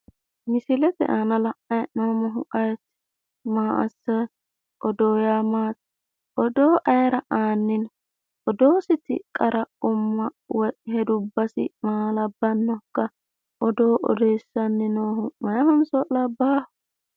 Misilete aana la'nani hee'noommohu ayeeti? Maa assanni no? Odoo yaa maati idoo ayera aani no? Odoonniti qara umma maa labbannokka odoo odeessanni noohu meyaatenso labbaaho.